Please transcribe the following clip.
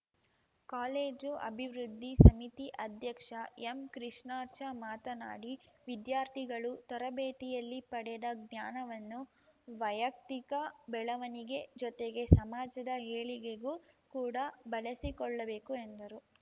college ಅಭಿವೃದ್ಧಿ ಸಮಿತಿ ಅಧ್ಯಕ್ಷ ಎಂಕೃಷ್ಣಾರ್ಚಾ ಮಾತನಾಡಿ ವಿದ್ಯಾರ್ಥಿಗಳು ತರಬೇತಿಯಲ್ಲಿ ಪಡೆದ ಜ್ಞಾನವನ್ನು ವೈಯಕ್ತಿಕ ಬೆಳವಣಿಗೆ ಜೊತೆಗೆ ಸಮಾಜದ ಏಳಿಗೆಗೂ ಕೂಡ ಬಳಸಿಕೊಳ್ಳಬೇಕು ಎಂದರು